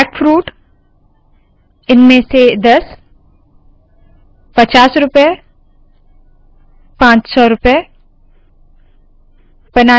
jackfruit इनमें से दस पचास रूपए पाँच सौ रूपए